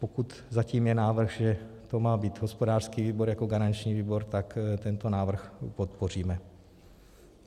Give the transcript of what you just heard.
Pokud zatím je návrh, že to má být hospodářský výbor jako garanční výbor, tak tento návrh podpoříme.